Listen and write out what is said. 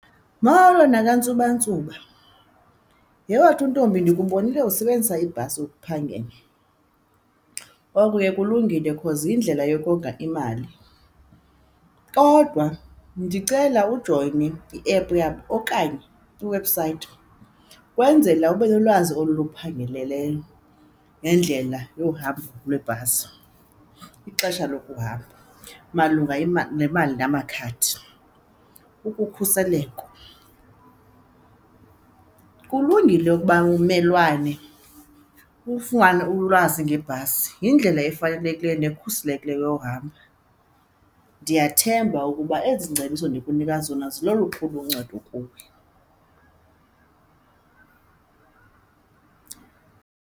Molo nakantsuba ntsuba, yhe wethu ntombi ndikubonile usebenzisa ibhasi ukuphangela, oko ke kulungile cause yindlela yokonga imali kodwa ndicela ujoyine i-app yabo okanye iwebhusayithi ukwenzela ube nolwazi oluphangaleleyo nendlela yohamba lweebhasi, ixesha lokuhamba malunga iali, nemali namakhadi, ukukhuseleko. Kulungile ukuba ummelwane ufumane ulwazi ngebhasi, yindlela efanelekileyo nekhuselekileyo yohamba. Ndiyathemba ukuba ezi ngcebiso ndikunika zona zilolukhulu uncedo kuwe.